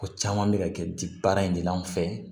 Ko caman bɛ ka kɛ di baara in de la an fɛ